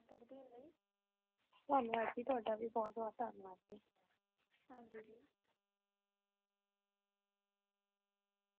ਧੰਨੇ ਵਡ ਤੂੰ ਵੀ ਬਹੁਤ ਭਰ ਕੇ